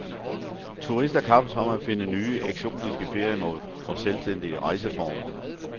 Turister kappes om at finde nye, eksotiske feriemål og selvstændige rejseformer.